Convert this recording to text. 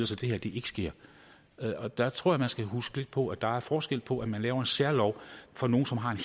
så det her ikke sker og der tror jeg man skal huske lidt på at der er forskel på at man laver en særlov for nogle som har en